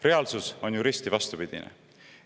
Reaalsus on ju risti vastupidine.